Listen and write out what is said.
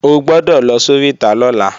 O gbọ́dọ̀ lọ sóríta lọ́la